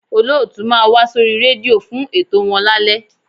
Olóòtú máa wá sórí rédíò fún ètò wọn lálẹ́